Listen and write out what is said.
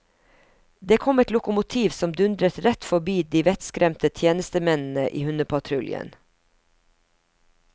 Det kom et lokomotiv som dundret rett forbi de vettskremte tjenestemennene i hundepatruljen.